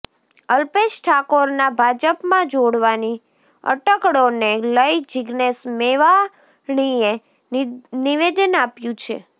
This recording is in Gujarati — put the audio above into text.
અલ્પેશ ઠાકોરના ભાજપમાં જોડાવાની અટકળોને લઇ જીજ્ઞેશ મેવાણીએ નિવેદન આપ્યું છે